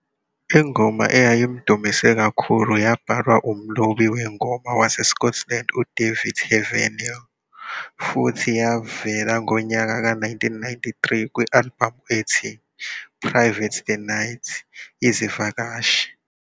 Ingoma eyayimdumisa yabhalwa umlobi wengoma waseScotland uDavid Heavenor futhi yavela ngonyaka ka-1993 kwi-albhamu ethi "Private The Night izivakashi".